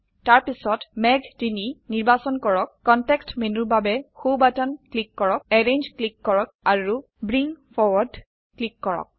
তাৰপিছত মেঘ ৩ নিৰ্বাচন কৰক কনটেক্সট মেনুৰ বাবে সো বাটন ক্লিক কৰক এৰেঞ্জ ক্লিক কৰক আৰু ব্ৰিং ফৰৱাৰ্ড ক্লিক কৰক